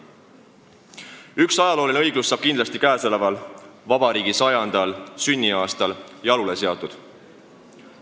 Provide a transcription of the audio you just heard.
Ühel moel aga saab ajalooline õiglus kindlasti käesoleval, vabariigi 100. sünniaastal jalule seatud.